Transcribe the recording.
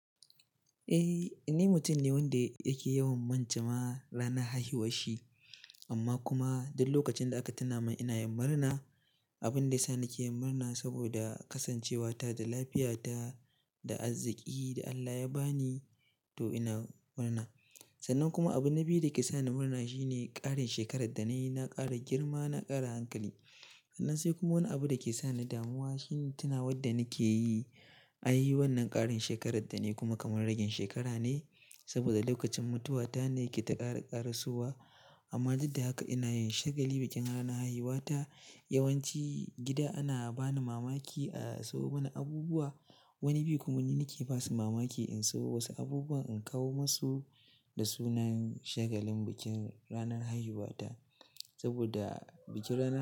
Eh, ni mutum ne wanda yake yawan manta ma ranar haihuwar shi, amma kuma duk lokacin da aka tuna min ina yin murna. Abin da ya sa nake yin murna saboda kasancewata da lafiyata da arziki da Allah ya ba ni, to ina murna. Sannan kuma abin na biyu da ke sa ni murna shine ƙarin shekarar da na yi, na ƙara girma, na ƙara hankali. Sannan sai kuma wani abu da ke sa ni damuwa shine tunawa da nake yi, ai wannan ƙarin shekarar da na yi kuma kamar rage shekara ne saboda lokacin mutuwata ne ke ta ƙara ƙarasowa. Amma duk da haka ina yin shagali bikin ranar haihuwata. Yawan ci gida ana ba ni mamaki a sayo mini abubuwa. Wani bi kuma ni nake basu mamaki in sayo wasu abubuwa in kawo musu da sunan shagalin bikin ranar haihuwata, saboda bikin ranar.